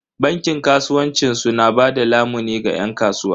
Bankin kasuwanci su na bada lamuni ga yan kasuwa.